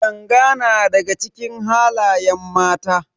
Yanga na daga cikin halayen mace.